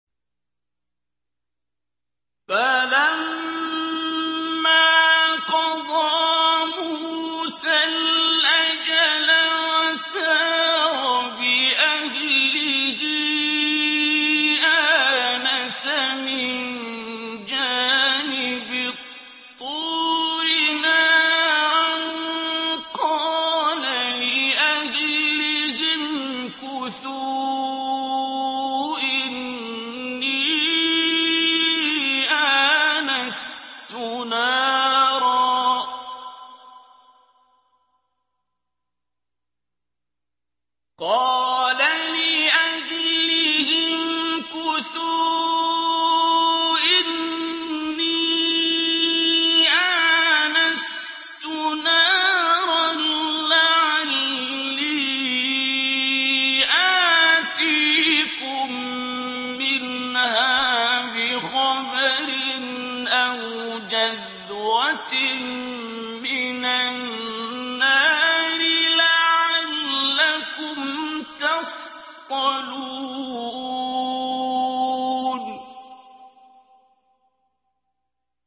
۞ فَلَمَّا قَضَىٰ مُوسَى الْأَجَلَ وَسَارَ بِأَهْلِهِ آنَسَ مِن جَانِبِ الطُّورِ نَارًا قَالَ لِأَهْلِهِ امْكُثُوا إِنِّي آنَسْتُ نَارًا لَّعَلِّي آتِيكُم مِّنْهَا بِخَبَرٍ أَوْ جَذْوَةٍ مِّنَ النَّارِ لَعَلَّكُمْ تَصْطَلُونَ